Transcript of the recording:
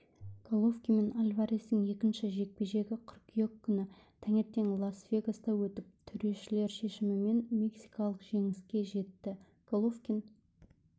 головкин мен альварестің екінші жекпе-жегі қыркүйек күні таңертең лас-вегаста өтіп төрешілер шешімімен мексикалық жеңіске жетті головкин